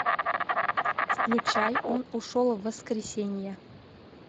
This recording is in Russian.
включай он ушел в воскресенье